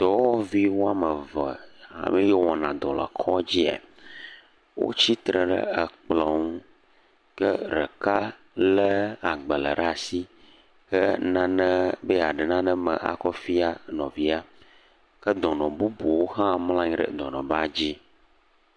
Dɔwɔvi woame ve yee wɔna dɔ le kɔdzi ya. Wotsi tre ɖe ekplɔ̃ ŋu. Ke reeka lé agbalẽ ɖe ashi hee nane, be yeaɖe naɖe me akɔ fia nɔvia. Ke dɔnɔ bubuwo hã mlɔ̃ anyi dɔnɔbadzi.